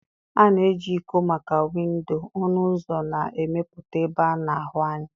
A na-eji iko maka windo, ọnụ ụzọ na ịmepụta ebe a na-ahụ anya.